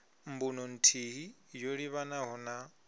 mbuno nthihi yo livhanaho na